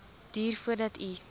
duur voordat u